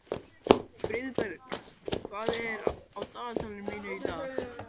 Friðberg, hvað er á dagatalinu mínu í dag?